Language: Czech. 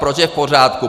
Proč je v pořádku?